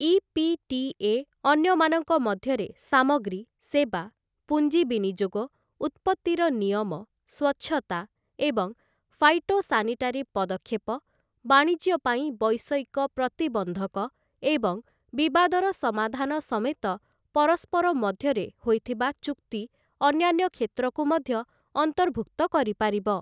EPTA. ଅନ୍ୟମାନଙ୍କ ମଧ୍ୟରେ ସାମଗ୍ରୀ, ସେବା, ପୁଞ୍ଜି ବିନିଯୋଗ, ଉତ୍ପତ୍ତିର ନିୟମ, ସ୍ୱଚ୍ଛତା ଏବଂ ଫାଇଟୋସାନିଟାରୀ ପଦକ୍ଷେପ, ବାଣିଜ୍ୟ ପାଇଁ ବୈଷୟିକ ପ୍ରତିବନ୍ଧକ ଏବଂ ବିବାଦର ସମାଧାନ ସମେତ ପରସ୍ପର ମଧ୍ୟରେ ହୋଇଥିବା ଚୁକ୍ତି ଅନ୍ୟାନ୍ୟ କ୍ଷେତ୍ରକୁୂ ମଧ୍ୟ ଅନ୍ତର୍ଭୁକ୍ତ କରିପାରିବ ।